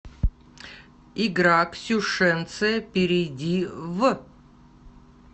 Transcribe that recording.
игра ксюшенция перейди в